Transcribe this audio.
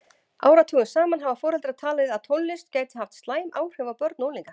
Áratugum saman hafa foreldrar talið að tónlist gæti haft slæm áhrif á börn og unglinga.